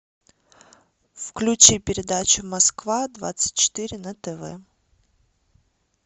включи передачу москва двадцать четыре на тв